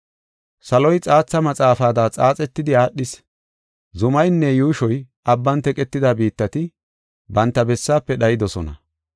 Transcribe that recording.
Saloy xaatha maxaafada xaaxetidi aadhis; zumaynne yuushoy abban teqetida biittati banta bessaafe dhaydosona.